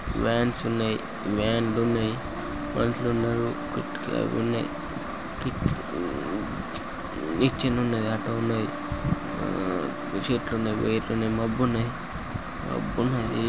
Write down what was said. Vans ఉన్నాయి van ఉన్నాయి. మనుషులున్నరుఅవి ఉన్నాయి నిచ్చెనున్నది ఆటో ఉన్నది. చెట్లు ఉన్నాయి. వేర్లు ఉన్నాయి. మబ్బు ఉన్నాయి మబ్బున్నది.